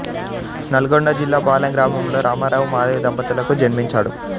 నల్గొండ జిల్లా పాలెం గ్రామంలో రామారావు మాధవి దంపతులకు జన్మించాడు